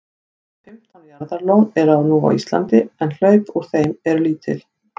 um fimmtán jaðarlón eru nú á íslandi en hlaup úr þeim eru lítil